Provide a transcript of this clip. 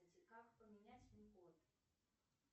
как поменять пин код